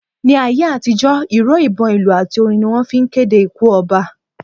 Ní ayé àtijó, ìró ìbon, ìlù àti Orin ni wón fi n kéde ikú oba